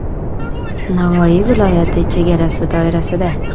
Navoiy viloyati chegarasi doirasida.